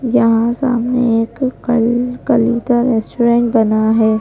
यहाँ सामने एक कल कल का रेस्टोरेंट बना है।